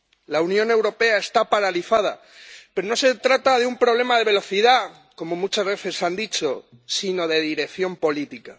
La Unión Europea está paralizada, pero no se trata de un problema de velocidad —como muchas veces han dicho—, sino de dirección política.